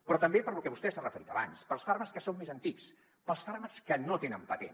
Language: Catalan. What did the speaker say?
però també per lo que vostè s’ha referit abans pels fàrmacs que són més antics pels fàrmacs que no tenen patent